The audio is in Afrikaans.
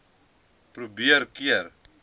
mpho probeer keer